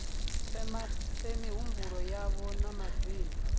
fhe mihumbulo yavho na madzina